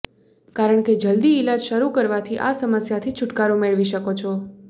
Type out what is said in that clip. કારણ કે જલ્દી ઈલાજ શરુ કરવાથી આ સમસ્યાથી છુટકારો મેળવી શકો છો